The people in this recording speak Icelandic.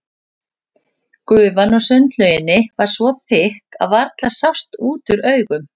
Gufan úr sundlauginni var svo þykk að varla sást út úr augum.